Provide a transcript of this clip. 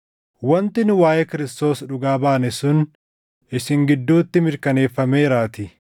wanti nu waaʼee Kiristoos dhugaa baane sun isin gidduutti mirkaneeffameeraatii.